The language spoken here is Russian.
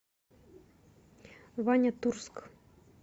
ваня турск